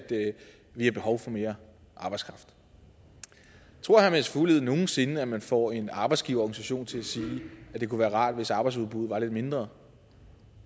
vi har behov for mere arbejdskraft tror herre mads fuglede nogen sinde at man får en arbejdsgiverorganisation til at sige at det kunne være rart hvis arbejdsudbuddet var lidt mindre